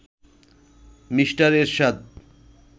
mister Ershad